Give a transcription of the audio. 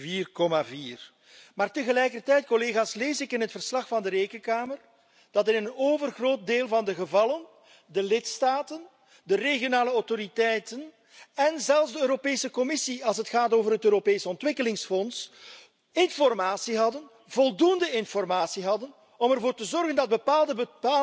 4,4. Maar tegelijkertijd, collega's, lees ik in het verslag van de Rekenkamer dat in een overgroot deel van de gevallen de lidstaten, de regionale autoriteiten, en zelfs de Europese Commissie als het gaat over het Europees Ontwikkelingsfonds, informatie hadden, voldoende informatie hadden, om ervoor te zorgen dat bepaalde